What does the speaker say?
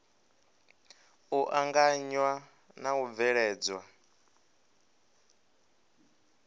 u anganya na u bveledzwa